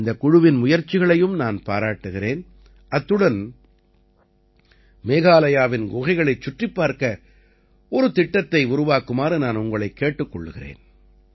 இந்தக் குழுவின் முயற்சிகளையும் நான் பாராட்டுகிறேன் அத்துடன் மேகாலயாவின் குகைகளை சுற்றிப் பார்க்க ஒரு திட்டத்தை உருவாக்குமாறு நான் உங்களைக் கேட்டுக்கொள்கிறேன்